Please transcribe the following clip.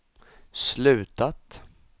slutat